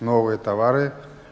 новые товары